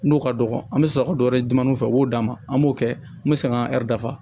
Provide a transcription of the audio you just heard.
N'o ka dɔgɔ an bɛ sɔrɔ ka dɔ wɛrɛ dimaninw fɛ u b'o d'a ma an b'o kɛ n bɛ segin ka dafa